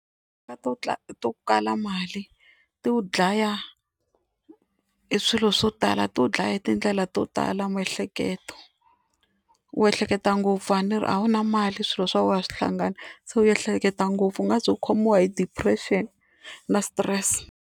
Timhaka to to kala mali ti wu dlaya hi swilo swo tala ti wu dlaya hi tindlela to tala miehleketo, u ehleketa ngopfu a ni ri a wu na mali swilo swa wena a swi hlangana se u ehleketa ngopfu u nga ze u khomiwa hi depression na stress.